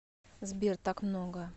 сбер так много